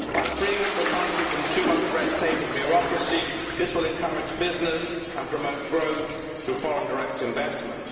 By freeing up the country from too much red tape and bureaucracy, this will encourage business and promote growth through foreign direct investment.